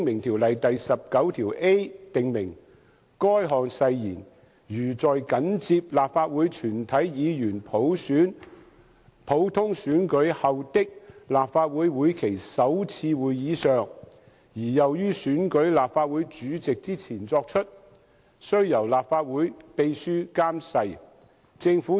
《條例》第 19a 條訂明，誓言如在緊接立法會全體議員普通選舉後的立法會會期首次會議上而又於選舉立法會主席之前作出，須由立法會秘書監誓。